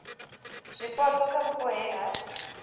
zwipotso kha vhupo he ha